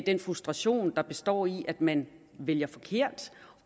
den frustration der består i at man vælger forkert